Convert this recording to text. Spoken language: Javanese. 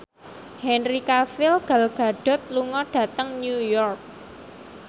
Henry Cavill Gal Gadot lunga dhateng New York